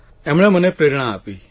એમણે મને પ્રેરણા આપી